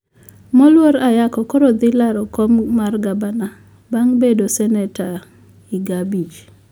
moluor ayako koro thi laro kom mar gabna beng bedo seneta iga abich